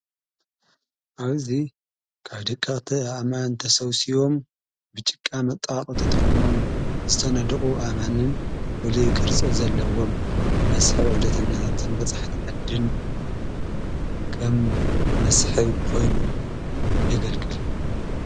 ኣብዙይ ካብ ድቃተ ኣማ እንተሠውሲዎም ብጭቃ መጣቕ ተጥቕሞም ዝተነድቑ ኣማንን ዉሉይ ቕርጽ ዘለዎም ንመስዕ ዑደትነታትን በጻሕ ተዓድን ቀም መስሕ ኾይኑ የገልግል።